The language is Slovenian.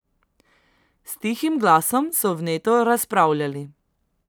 S tihim glasom so vneto razpravljali.